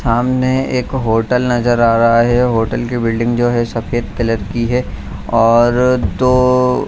सामने एक होटल नज़र आ रहा है होटल की बिल्डिंग जो है सफ़ेद कलर की है और दो --